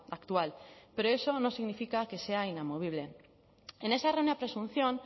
actual pero eso no significa que sea inamovible en esa errónea presunción